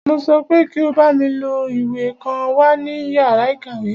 Mo sọ pé kí o bámi lọ gbá ìwé kan wá ní yàrá ìkàwé!